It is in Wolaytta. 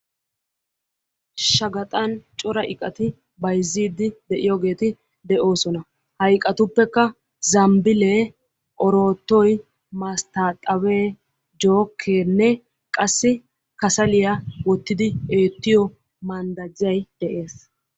Shaqaxan cora iqati bayzziiddi de'yogeeti de'oosona. Ha iqatuppekka zambbilee, oroottoy, masttaaxabee, jookkeenne qassi kasaliya wottidi eettiyo manddajjay de'ees.